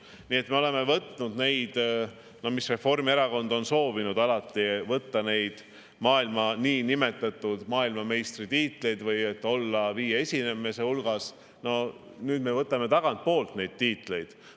Nii et me oleme võtnud neid tiitleid, nagu Reformierakond on alati soovinud, et meil oleksid niinimetatud maailmameistri tiitlid ja et me oleksime viie esimese hulgas – no nüüd me võtame tagantpoolt neid tiitleid.